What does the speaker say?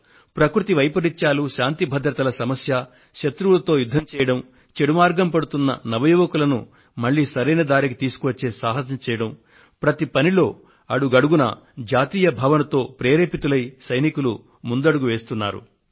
ప్రకృతి వైపరీత్యం కావచ్చు లేదా శాంతి భద్రత సంబంధ సంక్షోభం కావచ్చు లేదా శత్రువులతో తలపడడం కావచ్చు లేదా తప్పు దారి పట్టిన యువతీయువకులను తిరిగి జీవన ప్రధాన స్రవంతిలోకి తీసుకువచ్చేందుకు వారిలో ప్రేరణను రగిలించడం కావచ్చు మన జవానులు దేశానికి సేవ చేయడంలో దేశభక్తి భావనను వారి దేహంలోని అణువణువున నింపుకొంటున్నారు